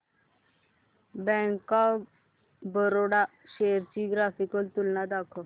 bank of Baroda shares ची graphical तुलना दाखव